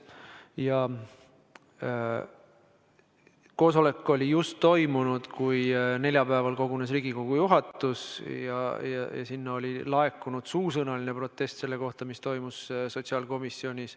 Ja koosolek just toimus, neljapäeval kogunes Riigikogu juhatus ja sinna oli laekunud suusõnaline protest selle kohta, mis toimus sotsiaalkomisjonis.